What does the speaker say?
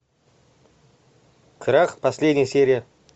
крах последняя серия